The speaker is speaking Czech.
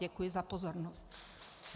Děkuji za pozornost.